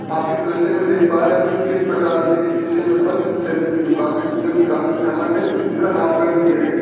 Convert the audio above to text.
आप इस दृश्य में देख पा रहे हैं की किस प्रकार से एक शीशे में बंद सैलून की दुकान है जो की काफी फेमस है इसका नामकरण भी किया गया है।